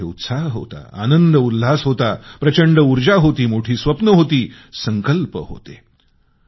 त्यांच्यामध्ये उत्साह होता आनंद उल्हास होता प्रचंड ऊर्जा होती मोठी स्वप्ने होती संकल्प होते